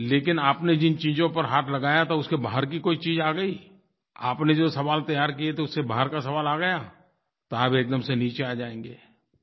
लेकिन आपने जिन चीज़ों पर हाथ लगाया था उसके बाहर की कोई चीज़ आ गई आपने जो सवाल तैयार किए थे उससे बाहर का सवाल आ गया तो आप एकदम से नीचे आ जाएँगे